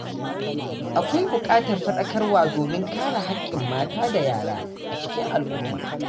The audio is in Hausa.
Akwai buƙatar fadakarwa domin kare haƙƙin mata da yara a cikin al’umma.